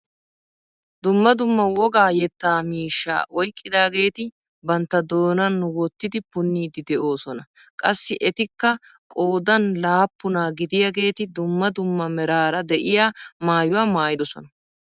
Dumma dumma wogaa yettaa miishshaa oyqqidaageti bantta doonan wottidi punniidi de'oosona. qassi etikka qoodan laappunaa gidiyaageti dumma dumma meraara de'iyaa maayuwaa maayidosona.